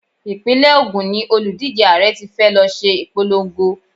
Ìpínlẹ̀ Ògún ni òlùdíje Ààrẹ tí fẹ́ lọ ṣe ìpolongo.